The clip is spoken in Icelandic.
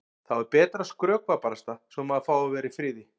Þá er betra að skrökva barasta svo að maður fái að vera í friði.